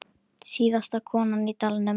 Síðasta konan í dalnum